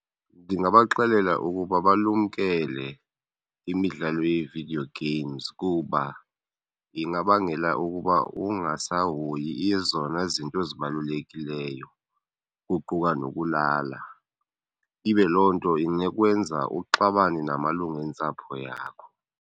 Ndingabaxelela ukuba balumkele imidlalo yee-video games kuba ingabangela ukuba ungasahoyi ezona izinto ezibalulekileyo, kuquka nokulala, ibe loo nto inokwenza uxabane namalungu entsapho yakho.